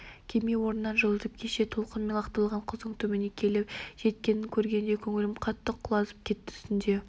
кеме орнынан жылжып кеше толқын мені лақтырған құздың түбіне келіп жеткенін көргенде көңілім қатты құлазып кетті түнде